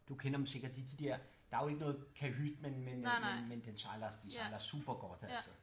Du kender dem sikkert det er de dér der er jo ikke noget kahyt men men øh men den de sejler super godt altså